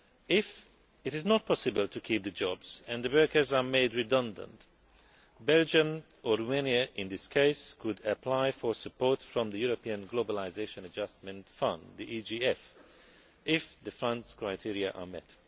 If it is not possible to keep the jobs, and the workers are made redundant, Belgium or Romania, in this case, could apply for support from the European Globalisation Adjustment Fund if the Fund's criteria are met.